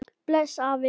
Bless afi.